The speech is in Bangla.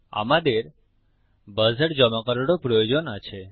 আমাদের বাজার জমা করারও প্রয়োজন আছে